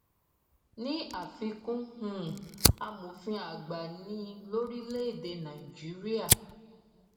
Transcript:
ní àfikún um amòfin àgbà ni lórílẹèdè nàìjíríà